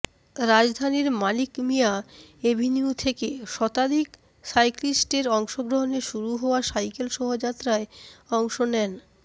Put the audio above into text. রাজধানীর মানিক মিয়া এভিনিউ থেকে শতাধিক সাইক্লিস্টের অংশগ্রহনে শুরু হওয়া সাইকেল শোভাযাত্রায় অংশ নেন